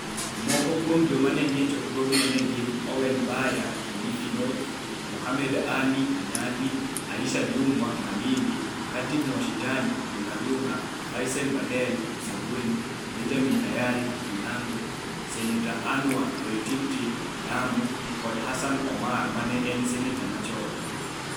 Moko kuom joma ne nie chokruogno ne gin Owen Baya (Kilifi North), Mohammed Ali (Nyali), Aisha Jumwa (Malindi), Khatib Mwashetani (Lungalunga), Faisel Baidel (Msambweni), Benjamin Tayari (Kinango), Senators Anwar Loitiptip (Lamu) kod Hassan Omar ma ne en Senator chon.